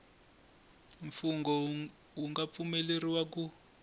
mfungho wu nga pfumeleriwa ku